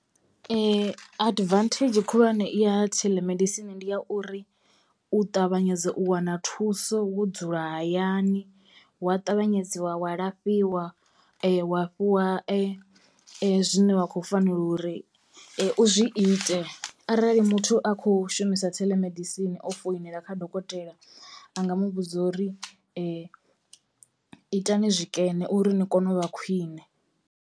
Advantage khulwane ya telemedicine ndi ya uri u ṱavhanyedza u wana thuso wo dzula hayani wa tavhanyedziwa wa lafhiwa wa fhiwa zwine wa kho fanela uri u zwi ite arali muthu a kho shumisa theḽemedisini o foinela kha dokotela a nga mu vhudza uri itani zwikene uri ni kone u vha khwiṋe.